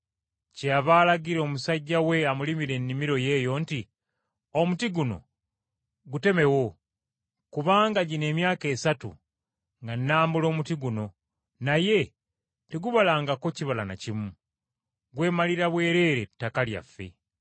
Kyeyava alagira omusajja we amulimira ennimiro eyo nti, ‘Omuti guno gutemewo. Kubanga gino emyaka esatu nga nambula omuti guno, naye tegubalangako kibala na kimu. Gwemalira bwereere ettaka lyaffe.’